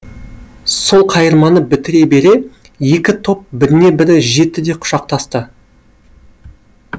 сол қайырманы бітіре бере екі топ біріне бірі жетті де құшақтасты